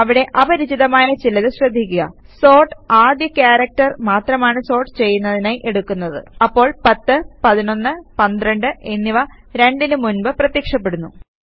അവിടെ അപരിചിതമായ ചിലത് ശ്രദ്ധിയ്ക്കുക സോർട്ട് ആദ്യ ക്യാരക്ടർ മാത്രമാണ് സോർട്ട് ചെയ്യുന്നതിനായി എടുക്കുന്നത് അപ്പോൾ 10 11 12 എന്നിവ 2 നു മുൻപ് പ്രത്യക്ഷപ്പെടുന്നു